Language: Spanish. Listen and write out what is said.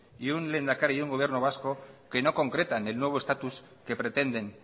y un lehendakari y un gobierno vasco que no concretan en nuevo estatus que pretenden